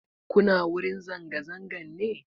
Kuna wurin zanga-zangan ne?